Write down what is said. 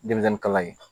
Denmisɛnnin kalan ye